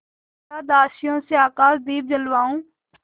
या दासियों से आकाशदीप जलवाऊँ